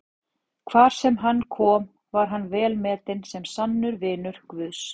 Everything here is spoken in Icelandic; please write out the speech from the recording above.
Hvar sem hann kom var hann velmetinn sem sannur vinur Guðs.